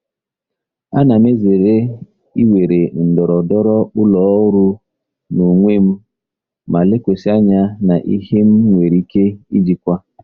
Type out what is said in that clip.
Ana m ezere iwere ndọrọndọrọ ụlọ ọrụ n'onwe m ma lekwasị anya na ihe m nwere ike ijikwa.